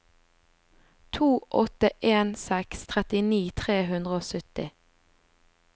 to åtte en seks trettini tre hundre og sytti